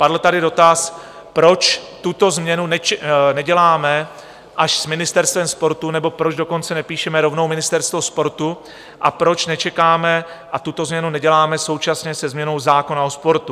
Padl tady dotaz, proč tuto změnu neděláme až s ministerstvem sportu, nebo proč dokonce nepíšeme rovnou ministerstvo sportu a proč nečekáme a tuto změnu neděláme současně se změnou zákona o sportu.